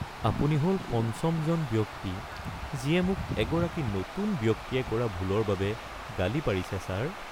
আপুনি হ'ল পঞ্চমজন ব্যক্তি যিয়ে মোক এগৰাকী নতুন ব্যক্তিয়ে কৰা ভুলৰ বাবে গালি পাৰিছে, ছাৰ। (Shop clerk)